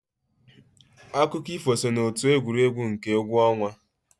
Akụkọ ifo so n'otu egwuregwu nke egwu ọnwa.